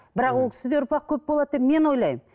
бірақ ол кісіде ұрпақ көп болады деп мен ойлаймын